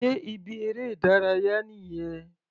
Sé ibi eré ìdárayá nìyẹn?